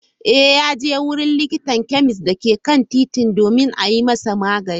Eh, yaje wajen likitan chemist dake kan titi domin a yi masa magani.